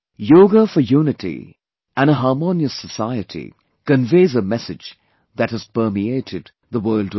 Yoga for unity and a harmonious society conveys a message that has permeated the world over